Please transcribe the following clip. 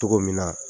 Cogo min na